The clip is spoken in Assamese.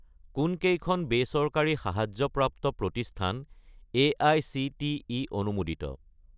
কোনকেইখন বেচৰকাৰী সাহায্যপ্ৰাপ্ত প্ৰতিষ্ঠান এআইচিটিই অনুমোদিত?